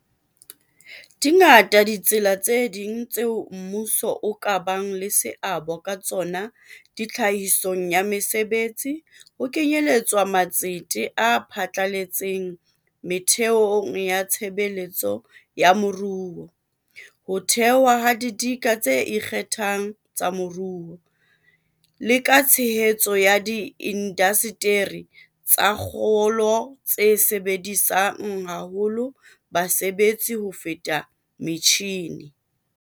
Dingata ditsela tse ding tseo mmuso o ka bang le seabo ka tsona tlhahisong ya mesebetsi, ho kenyeletswa matsete a phatlaletseng metheong ya tshebetso ya moruo, ho thewa ha didika tse ikgethang tsa moruo, le ka tshehetso ya diindasteri tsa kgolo tse sebedisang haholo basebetsi ho feta metjhine.